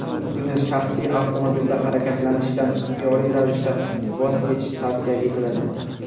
Shu kuni shaxsiy avtomobilda harakatlanishdan ixtiyoriy ravishda voz kechish tavsiya etiladi.